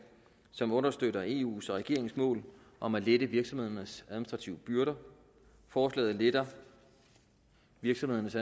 som understøtter eus og regeringens mål om at lette virksomhedernes administrative byrder forslaget letter virksomhedernes